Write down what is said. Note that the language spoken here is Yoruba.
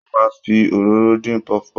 Wọ́n máa ń fi òróró dín puff puff.